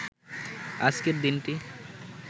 আজকের দিনটি